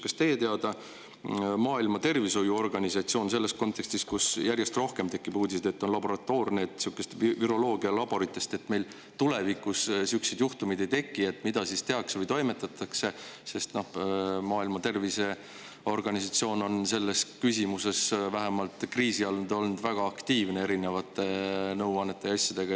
Kas teie teada Maailma Terviseorganisatsioon teeb midagi või toimetab, kuna järjest rohkem tekib uudiseid, et see viirus on laboratoorne, viroloogialaboritest, et meil tulevikus sihukesi juhtumeid ei tekiks, sest Maailma Terviseorganisatsioon on selles küsimuses vähemalt kriisi ajal olnud väga aktiivne erinevate nõuannete ja asjadega.